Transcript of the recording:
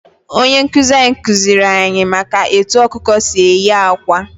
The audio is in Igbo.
Onye nkuzi anyị kuziri anyị maka etu ọkụkọ si eyi akwa.